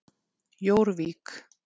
Jórvík